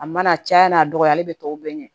A mana caya n'a dɔgɔyalen bɛ tɔw bɛɛ ɲɛ